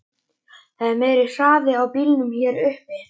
Það er meiri hraði á bílunum hér uppi.